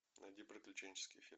найди приключенческий фильм